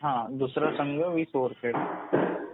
हो दुसरा संघ वीस ओव्हर खेळतो.